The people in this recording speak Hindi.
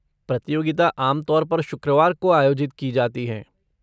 प्रतियोगिता आम तौर पर शुक्रवार को आयोजित की जाती हैं।